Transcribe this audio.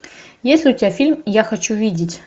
есть ли у тебя фильм я хочу видеть